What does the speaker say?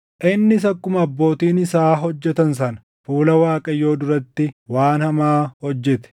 Innis akkuma abbootiin isaa hojjetan sana fuula Waaqayyoo duratti waan hamaa hojjete.